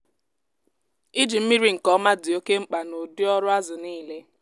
iji mmiri nke ọma dị oke mkpa n’ụdị ọrụ azụ niile.